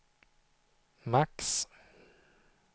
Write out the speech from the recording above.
max